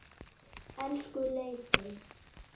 Elsku Leifi.